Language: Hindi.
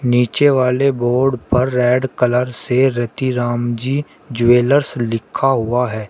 नीचे वाले बोर्ड पर रेड कलर से रतिराम जी ज्वैलर्स लिखा हुआ है।